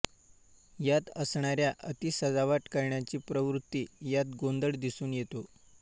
यात असणाऱ्या अति सजावट करण्याची प्रवृत्ती यात गोंधळ दिसून येतो